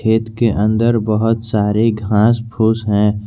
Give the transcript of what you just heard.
खेत के अंदर बहुत सारे घास फूस है।